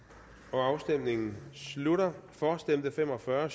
afstemningen slutter for stemte fem og fyrre